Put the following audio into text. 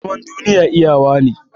Zaman duniya iyawa ne